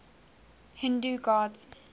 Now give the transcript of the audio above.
hindu gods